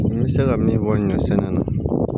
N bɛ se ka min fɔ ɲɔ sɛnɛ na